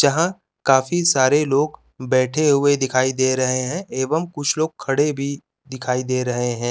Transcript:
जहाँ काफी सारे लोग बैठे हुए दिखाई दे रहे है एवं कुछ लोग खडे भी दिखाई दे रहे है।